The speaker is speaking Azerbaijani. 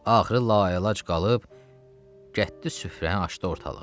Axırı lailac qalıb gətdi süfrəni açdı ortalığa.